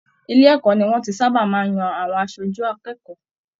Ilé ẹ̀kọ́ ní wọn tí sábà máa n yan àwọn aṣojú akẹ́kọ̀ọ́.